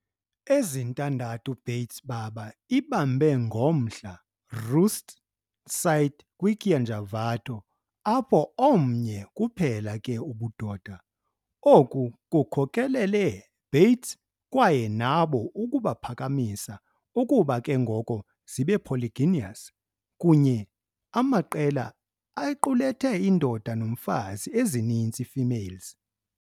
Ezintandathu bats baba ibambe ngomhla roost site kwi-Kianjavato, apho omnye kuphela ke ubudoda, oku kukhokelele Bates kwaye nabo ukuba phakamisa ukuba ke ngoko zibe polygynous, kunye amaqela equlathe indoda nomfazi ezininzi females.